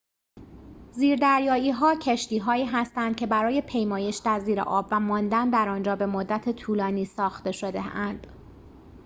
زیردریایی‌ها کشتی‌هایی هستند که برای پیمایش در زیر آب و ماندن در آنجا به مدت طولانی ساخته شده‌اند